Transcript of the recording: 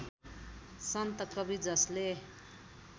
सन्त कवि जसले